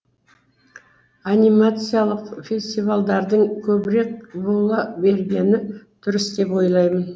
анимациялық фестивальдардың көбірек бола бергені дұрыс деп ойлаймын